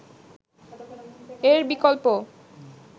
এর বিকল্প